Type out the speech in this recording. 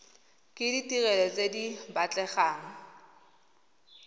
ke ditirelo tse di batlegang